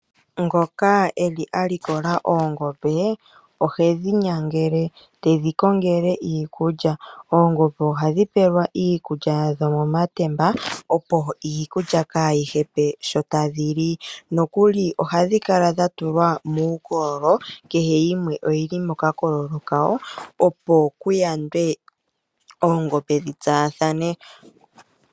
Ngoka eli a likola oongombe ohedhi nyangele tedhi kongele iikulya oongombe ohadhi pelwa iikulya yadho momatemba opo iikulya kaayi hepe sho tadhi li nokuli ohadhi kala dha tulwa muukololo kehe yimwe oyi li mokakolo kayo opo kuyandwe oongombe dhi tsaathane.